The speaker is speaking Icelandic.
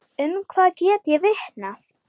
Um það get ég vitnað.